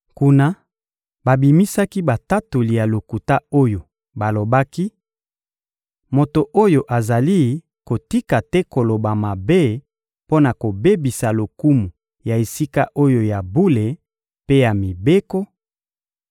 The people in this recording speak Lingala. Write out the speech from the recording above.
Kuna, babimisaki batatoli ya lokuta oyo balobaki: — Moto oyo azali kotika te koloba mabe mpo na kobebisa lokumu ya esika oyo ya bule mpe ya mibeko;